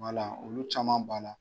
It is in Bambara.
Wala olu caman b'a la.